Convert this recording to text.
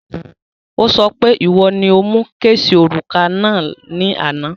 Ó sọ pé ìwo ni o mu kéèsì òrùka náà ní àná